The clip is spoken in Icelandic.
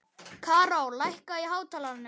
Karó, lækkaðu í hátalaranum.